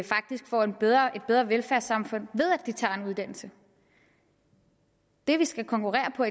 faktisk får et bedre bedre velfærdssamfund ved at de tager en uddannelse det vi skal konkurrere på